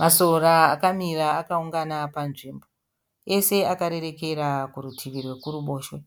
Masora akamira akaungana panzvimbo. Ese akarerekera kurutivi rwekuruboshwe,